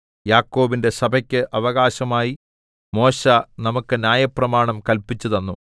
യാക്കോബിന്റെ സഭക്ക് അവകാശമായി മോശെ നമുക്ക് ന്യായപ്രമാണം കല്പിച്ചു തന്നു